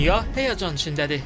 Dünya həyəcan içindədir.